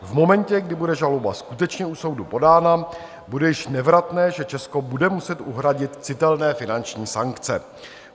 V momentě, kdy bude žaloba skutečně u soudu podána, bude již nevratné, že Česko bude muset uhradit citelné finanční sankce.